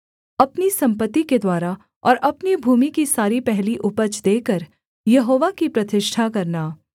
अपनी सम्पत्ति के द्वारा और अपनी भूमि की सारी पहली उपज देकर यहोवा की प्रतिष्ठा करना